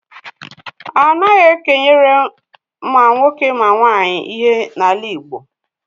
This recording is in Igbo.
Anaghị e kenyere ma nwoke ma nwaanyị ihe n'ala Igbo.